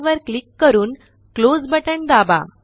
replace all वर click करून close button दाबा